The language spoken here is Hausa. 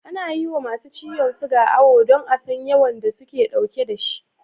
Ana yi wa masu ciyon suga awo don a san yawan da suke ɗauke da shi